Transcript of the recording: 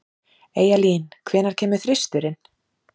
Eyjalín, hvenær kemur þristurinn?